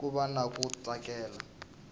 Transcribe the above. ku va na ku tsakela